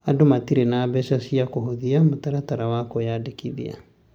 andũ matirĩ na mbeca cia kũhũthia mũtaratara wa kwĩandĩkithia.